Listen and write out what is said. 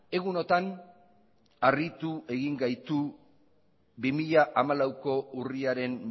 egunotan harritu egin gaitu bi mila hamalauko urriaren